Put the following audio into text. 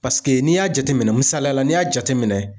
Paseke n'i y'a jateminɛ misaliya la n'i y'a jateminɛ.